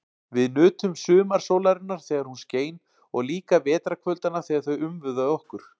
Við nutum sumarsólarinnar þegar hún skein og líka vetrarkvöldanna þegar þau umvöfðu okkur.